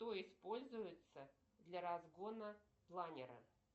что используется для разгона планера